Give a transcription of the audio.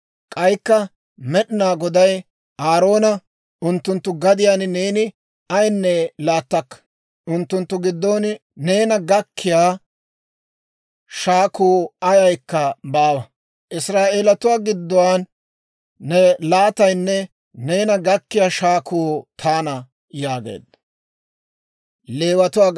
K'aykka Med'inaa Goday Aaroona, «Unttunttu gadiyaan neeni ayinne laattakka; unttunttu giddon neena gakkiyaa shaakuu ayaykka baawa; Israa'eelatuwaa giddon ne laataynne neena gakkiyaa shaakuu taana» yaageedda.